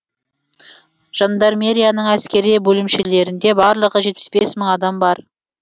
жандармерияның әскери бөлімшелерінде барлығы жетпіс бес мың адам бар